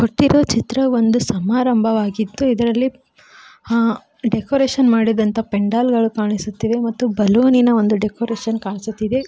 ತಿದು ಚಿತ್ರವೊಂದು ಸಮಾರಂಭವಾಗಿದ್ದು ಇದರಲ್ಲಿ ಹ್ಞಾ ಡೆಕೋರೇಷನ್ ಮಾಡಿದಂತ ಪೆಂಡಾಲ್ ಗಳು ಕಾಣಿಸುತ್ತಿವೆ ಮತ್ತು ಬಲುನಿನ ಒಂದು ಡೆಕೋರೇಷನ್ ಕಾಣಿಸುತ್ತಿದೆ.